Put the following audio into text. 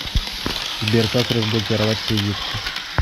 сбер как разблокировать кредитку